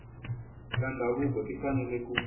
ta ndhavuko ti fanele ku